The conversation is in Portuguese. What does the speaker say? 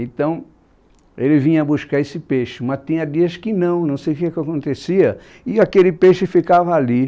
Então, ele vinha buscar esse peixe, mas tinha dias que não, não sei o que acontecia, e aquele peixe ficava ali.